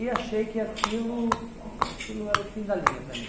E achei que aquilo aquilo era o fim da linha para mim.